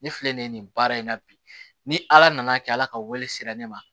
Ne filɛ nin ye nin baara in na bi ni ala nana kɛ ala ka wele sera ne ma